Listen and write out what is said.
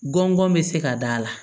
Gɔngɔn bɛ se ka da la